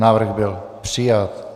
Návrh byl přijat.